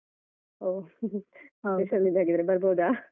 ಒಹ್ ter special ಇದ್ ಹಾಗಾದ್ರೆ ಬರ್ಬೋದ?